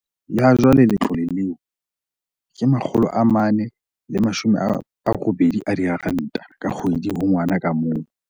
Ha jwale letlole leo ke R480 ka kgwedi ho ngwana ka mong.